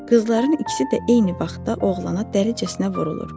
Qızların ikisi də eyni vaxtda oğlana dəricəsinə vurulur.